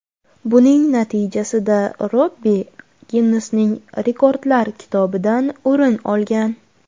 Buning natijasida Robbi Ginnesning rekordlar kitobidan o‘rin olgan.